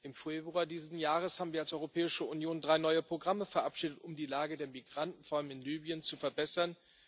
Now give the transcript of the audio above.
Im Februar dieses Jahres haben wir als Europäische Union drei neue Programme verabschiedet, um die Lage der Migranten vor allem in Libyen zu verbessern.